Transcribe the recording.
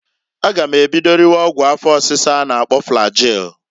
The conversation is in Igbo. A ga m ebido riwe ọgwụ afọ ọsisa a na- akpọ flagil.